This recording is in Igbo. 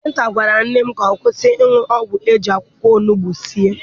Dọkịta gwara nne m ka ọ kwụsị ịṅụ ọgwụ eji akwụkwọ onugbu sie.